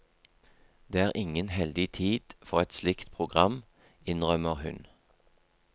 Det er ingen heldig tid for et slikt program, innrømmer hun.